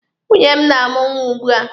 Nwunye m na-amụ nwa ugbua